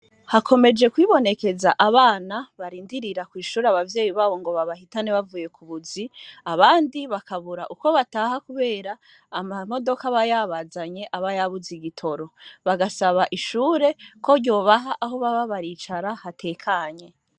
Hakomeje kwibonekeza abana barindirira kw'ishure abavyeyi babo ngo babahitane bavuye ku buzi abandi bakabura ukwo bataha, kubera ama modoka bayabazanye abayabuze igitoro bagasaba ishure ko ryobaha aho baba baricara hatekanye.